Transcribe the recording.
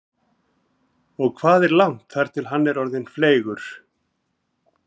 Lára Ómarsdóttir: Og hvað er langt þar til hann verður orðinn fleygur?